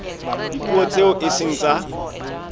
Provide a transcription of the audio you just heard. dipuo tseo e seng tsa